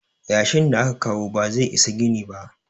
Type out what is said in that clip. yashin da aka kawo ba zai Isa gini ba